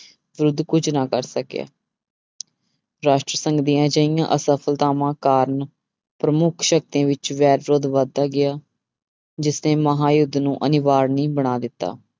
ਵਿਰੁੱਧ ਕੁੱਝ ਨਾ ਕਰ ਸਕਿਆ ਰਾਸ਼ਟਰ ਸੰਘ ਦੀਆਂ ਅਜਿਹੀਆਂ ਅਸਫ਼ਲਤਾਵਾਂ ਕਾਰਨ ਪ੍ਰਮੁੱਖ ਸ਼ਕਤੀਆਂ ਵਿੱਚ ਵੈਰ ਵਿਰੋਧ ਵੱਧਦਾ ਗਿਆ, ਜਿਸਨੇ ਮਹਾਂਯੁਧ ਨੂੰ ਅਨਿਵਾਰਨੀ ਬਣਾ ਦਿੱਤਾ।